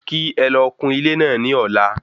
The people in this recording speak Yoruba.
Kí ẹlọ kún ilé náà ní ọ̀la